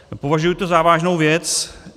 Považuji to za vážnou věc.